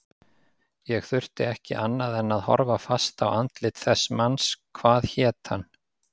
Ég þurfti ekki annað en að horfa fast á andlit þess manns, hvað hét hann?